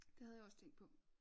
Det havde jeg også tænkt på